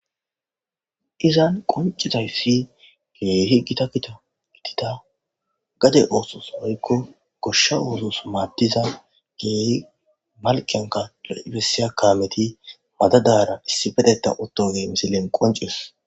Izan qoncizayfi ge heggita kita gitida gade oosos hoykko goshsha oozos maaddiza gee malqanka lo7bessiya kaameti madadara issi bedeta ottoge misilen qoncizos